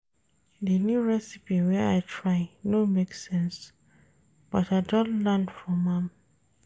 Di new recipe wey I try no make sense but I don learn from am.